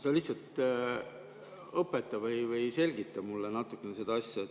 Sa lihtsalt õpeta mind või selgita mulle natukene seda asja.